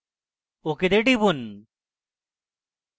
ok তে টিপুন